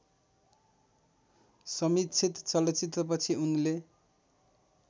समीक्षित चलचित्रपछि उनले